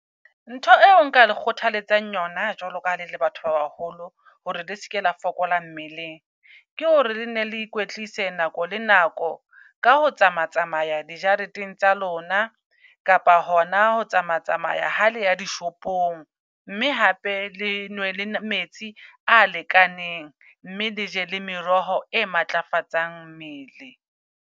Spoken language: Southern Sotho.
Ntho eo nka le kgothaletsang yona jwalo ka ha le le batho ba baholo, hore le seke la fokola mmeleng. Ke hore le nne le ikwetlise nako le nako ka ho tsama-tsamaya di jareteng tsa lona. Kapa hona ho tsama-tsamaya haleya di shopong. Mme hape le nwe le metsi a lekaneng, mme leje le meroho e matlafatsang mmele.